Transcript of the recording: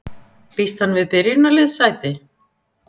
Býst hann við byrjunarliðssæti?